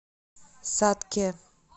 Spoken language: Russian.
сатке